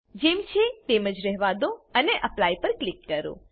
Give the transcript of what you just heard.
જેમ છે તેમ જ રહેવા દો અને એપ્લાય પર ક્લિક કરો